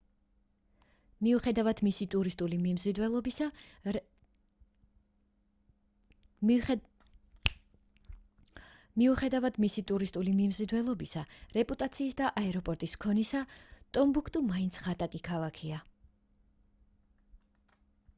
მიუხედავად მისი ტურისტული მიმზიდველობისა რეპუტაციის და აეროპორტის ქონისა ტომბუქტუ მაინც ღატაკი ქალაქია